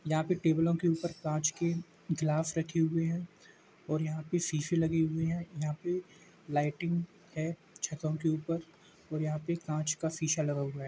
यहाँ पे टेबलों के ऊपर काँच के ग्लास रखे हुए हैं और यहाँ पे शीशे लगे हुए हैं | यहाँ पे लाइटिंग है छतो के ऊपर और यहाँ पे काँच का शीशा लगा हुआ है।